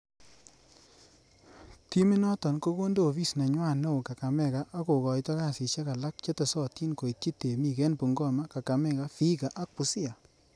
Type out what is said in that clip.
Timi noton ko konde ofis nenywan neo Kakamega, ak kokoito kasisiek alak chetesotin koityi temik en Bungoma, Kakamega, Vihiga ak Busia.